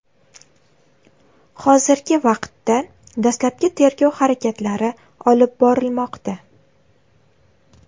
Hozirgi vaqtda dastlabki tergov harakatlari olib borilmoqda.